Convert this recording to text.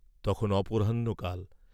তখন অপরাহ্ণ কাল।